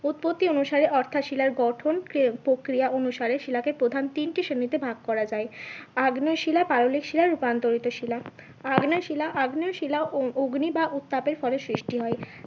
উৎপত্তি অনুসারে অর্থাৎ শিলার গঠন প্রক্রিয়া অনুসারে শিলাকে প্রধান তিনটি শ্রেণীতে ভাগ করা যায়। আগ্নেয় শিলা পাললিক শিলা, রূপান্তরিত, আগ্নেয় শিলা আগ্নেয় শিলা অগ্নি বা উত্তাপের ফলে সৃষ্টি হয়